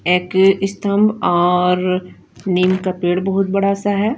एक स्तम्ब और नीम का पेड़ बोहोत बड़ा सा है।